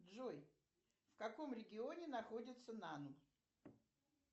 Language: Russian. джой в каком регионе находится нан